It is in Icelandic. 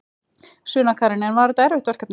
Sunna Karen: En var þetta erfitt verkefni?